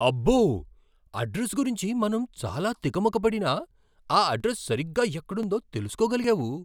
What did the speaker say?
అబ్బో! అడ్రస్ గురించి మనం చాలా తికమక పడినా, ఆ అడ్రస్ సరిగ్గా ఎక్కుడుందో తెలుసుకోగలిగావు.